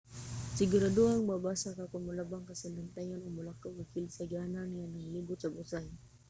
siguradong mabasa ka kon molabang ka sa latayan o molakaw ka kilid sa agianan nga naglibot sa busay